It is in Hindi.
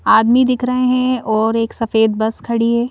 आदमी दिख रहे हैं और एक सफेद बस खड़ी है।